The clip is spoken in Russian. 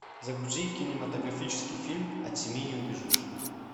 загрузи кинематографический фильм от семьи не убежишь